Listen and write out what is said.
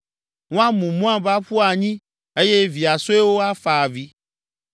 Woamu Moab aƒu anyi eye via suewo afa avi.